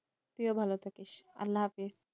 তুইও ভালো থাকিস, আল্লাহ হাফিজ